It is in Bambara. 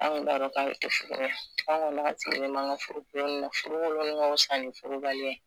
An kun m'a dɔn k'ale ti furu ɲɛ, an kɔni an sigilen m'an ga furu kolonni, furu koklon k bisa furu baliya ye.